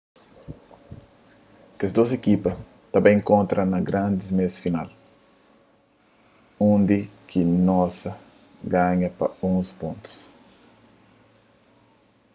kes dôs ekipa ta bai inkontra na grandi meias final undi ki noosa ganha pa 11 pontus